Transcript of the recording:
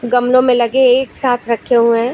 गमलों में लगे एक साथ रखे हुए हैं।